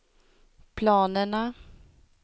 planerna